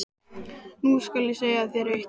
Nú skal ég segja þér eitt.